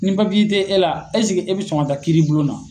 Ni tɛ e la esike e bɛ sɔn ka taa kiiribulon na.